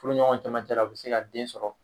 Furuɲɔgɔnw cɛmancɛ la u bɛ se ka den sɔrɔ